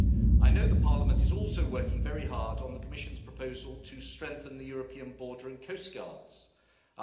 I know Parliament is also working very hard on the Commission's proposal to strengthen the European Border and Coastguard Agency.